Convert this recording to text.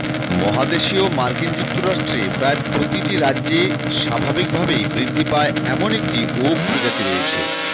মহাদেশীয় মার্কিন যুক্তরাষ্ট্রে প্রায় প্রতিটি রাজ্যে স্বাভাবিকভাবেই বৃদ্ধি পায় এমন একটি ওক প্রজাতি রয়েছে